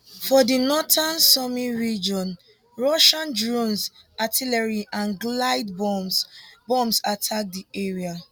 for di northern sumy region russian drones artillery and glide bombs bombs attack di area